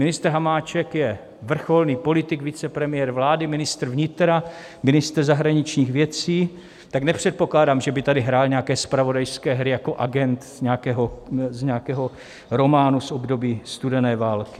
Ministr Hamáček je vrcholný politik, vicepremiér vlády, ministr vnitra, ministr zahraničních věcí, tak nepředpokládám, že by tady hrál nějaké zpravodajské hry jako agent z nějakého románu z období studené války.